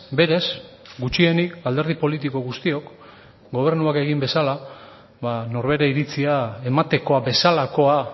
berez gutxienik alderdi politiko guztiok gobernuak egin bezala ba norbere iritzia ematekoa bezalakoa